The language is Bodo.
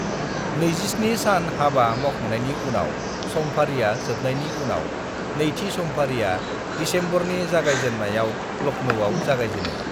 "27 सान हाबा मावखांनायनि उनाव समफारिआ जोबनायनि उनाव , नैथि समफारिआ दिसेम्बरनि जागायजेन्नायाव लखनौआव जागायजेनो।"